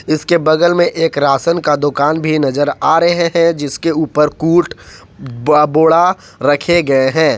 जीसके बगल में एक राशन का दुकान भी नजर आ रहा है जिसके उपर कूट ब बोडा रखे गये हैं।